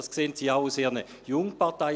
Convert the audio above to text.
Dies sehen Sie auch bei Ihren Jungparteien.